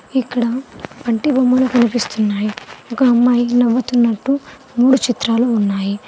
ఇక్కడ పంటి బొమ్మలు కనిపిస్తున్నాయ్ ఒక అమ్మాయికి నవ్వుతున్నట్టు మూడు చిత్రాలు ఉన్నాయి.